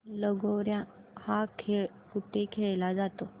लगोर्या हा खेळ कुठे खेळला जातो